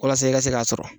Walasa i ka se k'a sɔrɔ